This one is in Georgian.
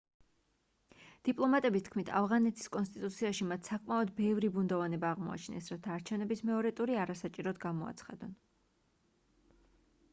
დიპლომატების თქმით ავღანეთის კონსტიტუციაში მათ საკმაოდ ბევრი ბუნდოვანება აღმოაჩინეს რათა არჩევნების მეორე ტური არასაჭიროდ გამოაცხადონ